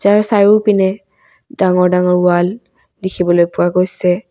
ইয়াৰ চাৰিওপিনে ডাঙৰ ডাঙৰ ওৱাল দেখিবলৈ পোৱা গৈছে।